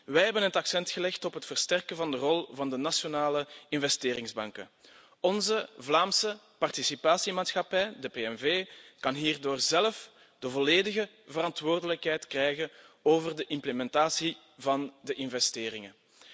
Wij hebben het accent gelegd op het versterken van de rol van de nationale investeringsbanken. Onze Vlaamse participatiemaatschappij, de PNV, kan hierdoor zelf de volledige verantwoordelijkheid krijgen over de implementatie van de investeringen.